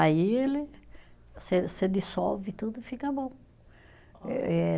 Aí ele, você você dissolve tudo e fica bom, eh